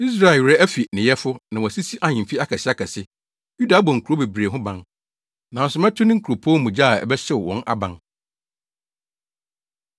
Israel werɛ afi ne yɛfo na wasisi ahemfi akɛseakɛse; Yuda abɔ nkurow bebree ho ban. Nanso mɛto ne nkuropɔn mu gya a ɛbɛhyew wɔn aban.”